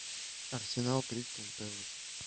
арсенал кристал пэлас